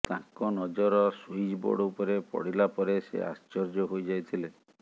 ତାଙ୍କ ନଜର switch board ଉପରେ ପଡିଲା ପରେ ସେ ଆଶ୍ଚର୍ଯ୍ୟ ହୋଇଯାଇଥିଲେ